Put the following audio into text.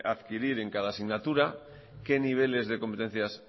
adquirir en cada asignatura qué niveles de competencias